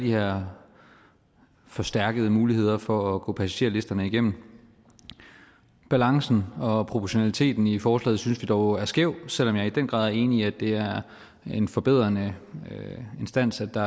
her forstærkede muligheder for at gå passagerlisterne igennem balancen og proportionaliteten i forslaget synes vi dog er skæv selv om jeg i den grad er enig i at det er en forbedrende instans at der